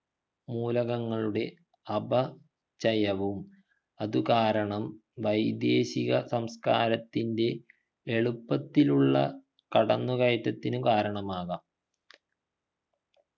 മൂലകങ്ങളുടെ അപ ചയവും അതു കാരണം വൈദേശിക സംസ്കാരത്തിൻ്റെ എളുപ്പത്തിലുള്ള കടന്നുകയറ്റത്തിന് കാരണമാകാം